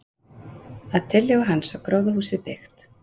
Að tillögu hans var gróðurhúsið byggt.